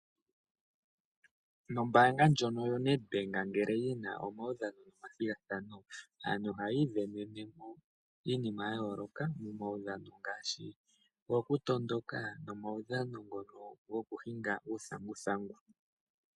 Ombaanga ndjono yo Nedbank ngele yina omaudhano no mathigathano. Ohayi ivenene iinima ya yooloka, momaudhano ngaashi owo kutondoka, nomaudhano ngono go kuhinga uuthanguthangu.